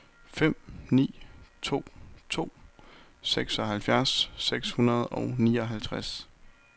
fem ni to to seksoghalvfjerds seks hundrede og nioghalvtreds